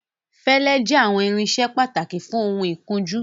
Fẹlẹ jẹ awọn irinṣẹ pataki fun oun ikunju